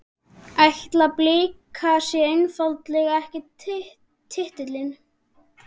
Ætla Blikar sér einfaldlega ekki titilinn?